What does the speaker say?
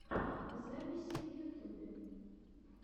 записи в ютубе